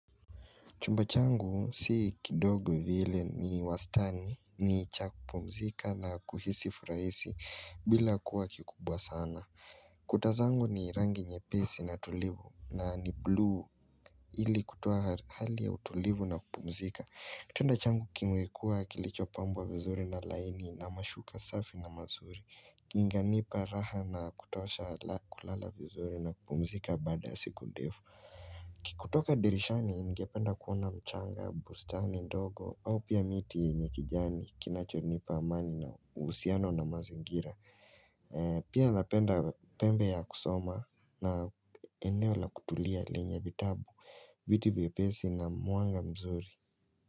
Chumba changu si kidogo vile ni wastani ni cha kupumzika na kuhisi furaisi bila kuwa kikubwa sana. Kuta zangu ni rangi nyepesi na tulivu na ni bluu ili kutoa hali ya utulivu na kupumzika. Kitanda changu kimekua kilichopambwa vizuri na laini na mashuka safi na mazuri. Inanipa raha na kutosha la kulala vizuri na kupumzika baada siku ndefu. Kutoka dirishani ningependa kuona mchanga, bustani ndogo au pia miti yenye kijani kinachonipa amani na uhusiano na mazingira Pia napenda pembe ya kusoma na eneo la kutulia lenye vitabu, viti vipesi na mwanga mzuri.